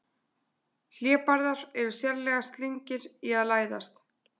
Hlébarðar eru sérlega slyngir í að læðast.